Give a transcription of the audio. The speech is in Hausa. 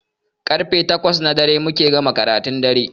Karfe takwas na dare muke gama karatun dare